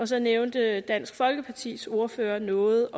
så nævnte dansk folkepartis ordfører noget